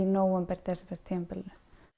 nóvember desember tímabilinu